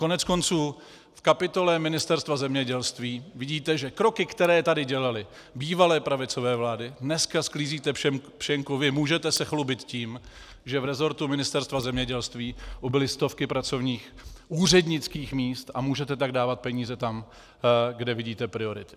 Koneckonců v kapitole Ministerstva zemědělství vidíte, že kroky, které tady dělaly bývalé pravicové vlády, dneska sklízíte pšenku vy, můžete se chlubit tím, že v rezortu Ministerstva zemědělství ubyly stovky pracovních úřednických míst, a můžete tak dávat peníze tam, kde vidíte priority.